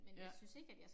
Ja